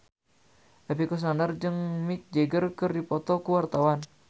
Epy Kusnandar jeung Mick Jagger keur dipoto ku wartawan